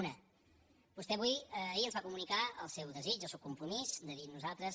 una vostè ahir ens va comunicar el seu desig el seu compromís de dir nosaltres